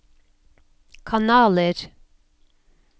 kanaler